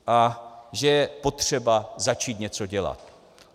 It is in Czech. A že je potřeba začít něco dělat.